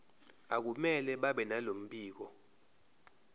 akumele babenalo mbiko